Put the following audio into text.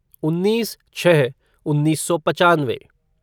उन्नीस छः उन्नीस सौ पचानवे